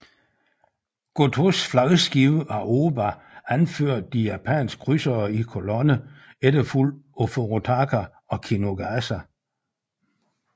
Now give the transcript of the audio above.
Gotōs flagskib Aoba anførte de japanske krydsere i kolonne efterfulgt af Furutaka og Kinugasa